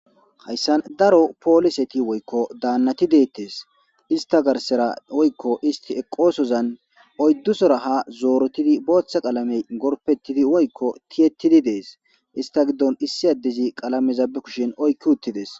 Haysan daro poliseti woyko danati de7etes. Isita garsara woyko isti eqosozan oydusora ha zorotidi botha qalamey gorpetidi woyko tiyetidi des. Isita gidon isi adezi qalameza be kushen oyqi utides.